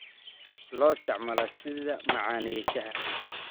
Loo isticmaalo sidii macaaneeye shaaha.